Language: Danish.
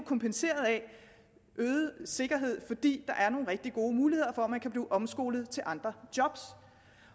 kompenseret af en øget sikkerhed fordi der er nogle rigtig gode muligheder for at man kan blive omskolet til andre job